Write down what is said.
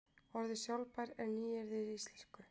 Orðið sjálfbær er nýyrði í íslensku.